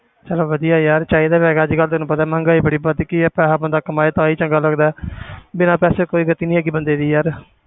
ਚੱਲ ਵਧੀਆ ਯਾਰ ਚਾਹੀਦਾ ਤਾਂ ਹੈਗਾ ਸੀਗਾ ਤੈਨੂੰ ਪਤਾ ਮਹਿੰਗਾਈ ਬੜੀ ਵੱਧ ਗਈ ਹੈ, ਪੈਸਾ ਬੰਦਾ ਕਮਾਏ ਤਾਂ ਹੀ ਚੰਗਾ ਲੱਗਦਾ ਹੈ ਬਿਨਾਂ ਪੈਸੇ ਕੋਈ ਇਜ਼ਤ ਨੀ ਹੈਗੀ ਬੰਦੇ ਦੀ ਯਾਰ।